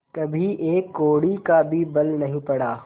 कभी एक कौड़ी का भी बल नहीं पड़ा